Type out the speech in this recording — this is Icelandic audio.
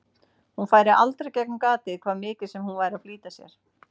Hún færi aldrei gegnum gatið, hvað mikið sem hún væri að flýta sér.